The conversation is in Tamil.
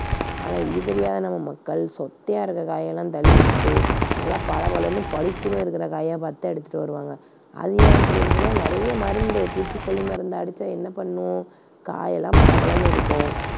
ஆனா இது தெரியாத நம்ம மக்கள் சொத்தையா இருக்கிற காய் எல்லாம் தள்ளி விட்டுட்டு நல்லா பளபளன்னு பளிச்சுன்னு இருக்கிற காயா பார்த்துத் தான் எடுத்துட்டு வருவாங்க. அது ஏன் அப்படி இருக்குன்னா நிறைய மருந்துப் பூச்சி கொல்லி மருந்து அடிச்சா என்ன பண்ணும்? காய் எல்லாம் பளபளன்னு இருக்கும்.